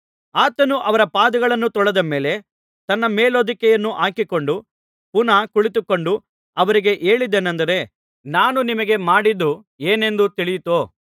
ಆತನು ಅವರ ಪಾದಗಳನ್ನು ತೊಳೆದ ಮೇಲೆ ತನ್ನ ಮೇಲುಹೊದಿಕೆಯನ್ನು ಹಾಕಿಕೊಂಡು ಪುನಃ ಕುಳಿತುಕೊಂಡು ಅವರಿಗೆ ಹೇಳಿದ್ದೇನಂದರೆ ನಾನು ನಿಮಗೆ ಮಾಡಿದ್ದು ಏನೆಂದು ತಿಳಿಯಿತೋ